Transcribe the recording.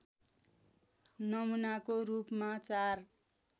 नमुनाको रूपमा चार